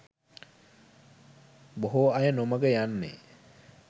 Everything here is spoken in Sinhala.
බොහෝ අය නොමඟ යන්නේ